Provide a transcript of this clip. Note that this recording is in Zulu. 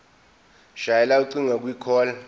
shayela ucingo kwicall